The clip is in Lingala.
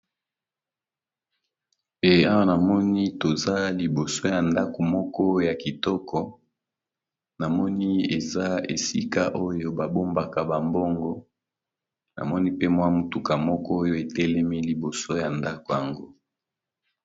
Awa namoni toza liboso ya ndako moko yakitoko namoni eza esika oyo babongaka ba mbongo namoni pe mwa mutuka moko etelemi liboso yandakongo